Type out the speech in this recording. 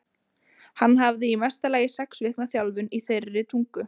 Hann hafði í mesta lagi sex vikna þjálfun í þeirri tungu.